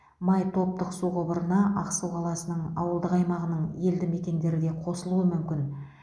май топтық су құбырына ақсу қаласының ауылдық аймағының елді мекендері де қосылуы мүмкін